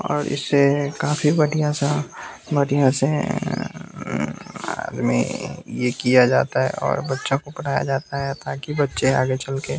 और इसे काफी बढ़िया सा बढ़िया से अ आ में यह किया जाता है और बच्चों को पढ़ाया जाता है ताकि बच्चे आगे चल के --